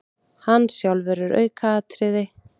Hann sjálfur er aukaatriði.